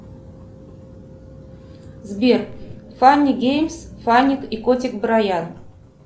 сбер фанни геймс фанник и котик браян